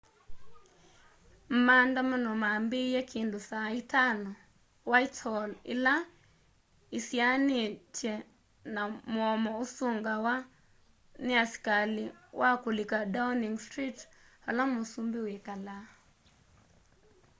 maandamano mambiie kindu saa 11:00 utc+1 whitehall ila isianitye na mũomo ũsungawa ni askali wa kulika downing street vala mũsũmbi wikalaa